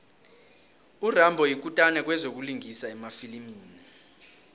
urambo yikutani kwezokulingisa emafilimini